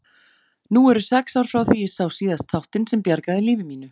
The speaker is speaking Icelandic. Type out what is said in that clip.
Nú eru sex ár frá því ég sá síðast þáttinn sem bjargaði lífi mínu.